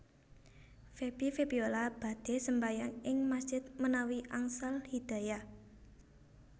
Feby Febiola badhe sembahyang ing masjid menawi angsal hidayah